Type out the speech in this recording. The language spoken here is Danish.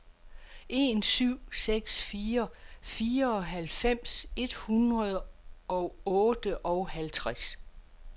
en syv seks fire fireoghalvfems et hundrede og otteoghalvtreds